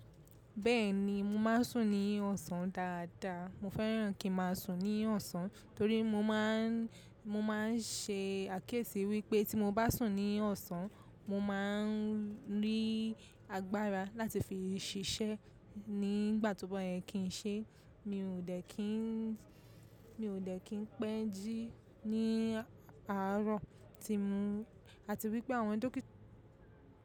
Bẹ́ẹ̀ni, mo máa ń sùn ní ọ̀sán dáadáa. Mo fẹ́ràn kí n máa sùn ní ọ̀sán torí mo máà n ṣe àkẹ́ẹ̀sì wípẹ́ tí mo bá sùn ní ọ̀sán mo máa ń rí agbára láti fi ṣiṣẹ́ nígbàtíbọ̀ yẹn kì í ṣe mio de kin. Mi ò dẹ́ kí n pẹ́ jí ní àárọ̀ tí mo, àti wípẹ́ àwọn dókítà.